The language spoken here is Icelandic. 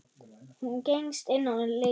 Hún gengst inn á lygina.